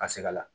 Ka se ka la